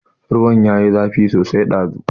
Ruwan ya yi zafi sosai ɗazu.